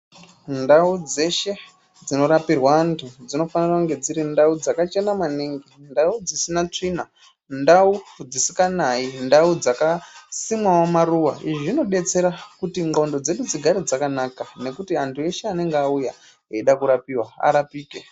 Ndau dzeshe dzino rapirwe antu dzinofanire kunge dziri ndau dzakachena maningi , ndau dzisina tsvina ndau dzisikanayi ndau dzakasimwawo maruwa . Izvi zvinobetsera kuti nxondo dzedu dzigare dzakanaka nekuti antu eshe anenge auya eida kurapiwa arapike .